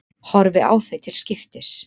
Horfi á þau til skiptis.